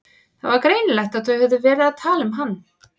Það var greinilegt að þau höfðu verið að tala um hann.